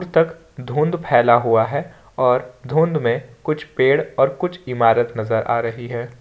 तक धुंध फैला हुआ है और धुंध में कुछ पेड़ और कुछ इमारत नजर आ रही है।